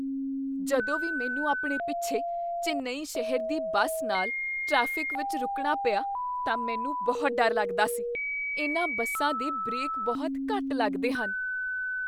ਜਦੋਂ ਵੀ ਮੈਨੂੰ ਆਪਣੇ ਪਿੱਛੇ ਚੇਨੱਈ ਸ਼ਹਿਰ ਦੀ ਬੱਸ ਨਾਲ ਟ੍ਰੈਫਿਕ ਵਿੱਚ ਰੁਕਣਾ ਪਿਆ ਤਾਂ ਮੈਨੂੰ ਬਹੁਤ ਡਰ ਲੱਗਦਾ ਸੀ। ਇਨ੍ਹਾਂ ਬੱਸਾਂ ਦੇ ਬ੍ਰੇਕ ਬਹੁਤ ਘੱਟ ਲੱਗਦੇ ਹਨ।